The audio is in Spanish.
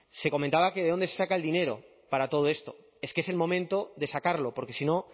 se comentaba que de dónde se saca el dinero para todo esto es que es el momento de sacarlo porque sino